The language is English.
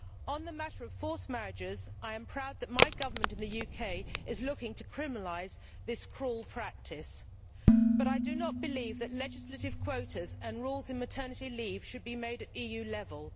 On the matter of forced marriages I am proud that my government in the UK is looking to criminalise this cruel practice but I do not believe that legislative quotas and rules on maternity leave should be made at EU level.